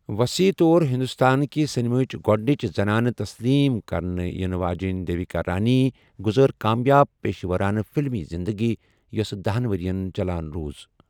وصیح طور ہندوستان كہِ سینماہچ گوڈنِچ زنانہٕ تسلیم كرنہٕ یِنہٕ واجیٚن دیوِكا رانی گُزٲر كامیاب پیشورانہٕ فِلمی زِندگی ،یوسہٕ دَہن ورِین چلان روٗز ۔